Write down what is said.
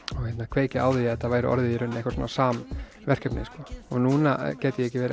kveikja á því að þetta væri orðið í raun eitthvað svona samverkefni sko og núna gæti ég ekki verið